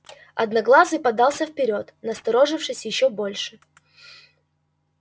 одноглазый подался вперёд насторожившись ещё больше